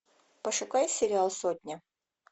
пошукай сериал сотня